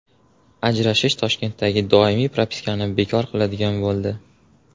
Ajrashish Toshkentdagi doimiy propiskani bekor qiladigan bo‘ldi.